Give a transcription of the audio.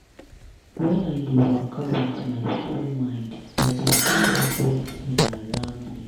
when i dey waka with my full mind i dey feel everitin around me.